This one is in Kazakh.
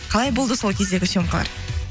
қалай болды сол кездегі съемкалар